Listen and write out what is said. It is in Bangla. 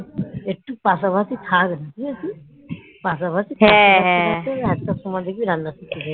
পাশাপাশি থাকতে থাকতে একটা সময় দেখবি রান্না শিখে যাবি